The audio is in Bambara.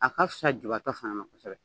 A ka fisa jiibatɔ fana ma kosɛbɛ.